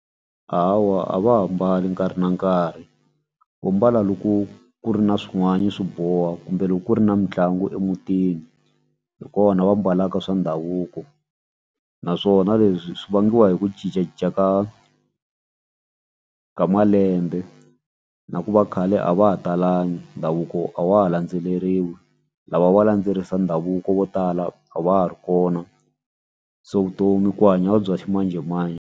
Hawa a va ha mbali nkarhi na nkarhi vo mbala loko ku ri na swin'wani swi boha kumbe loko ku ri na mitlangu emutini hi kona va mbalaka swa ndhavuko naswona leswi swi vangiwa hi ku cincacinca ka ka malembe na ku va khale a va ha talangi ndhavuko a wa ha landzeleriwi lava va landzelerisa ndhavuko vo tala a va ha ri kona se vutomi ku hanya bya ximanjhemanjhe.